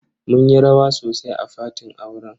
Mun yi rawa sosai a fatin auren.